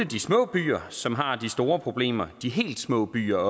de små byer som har de store problemer de helt små byer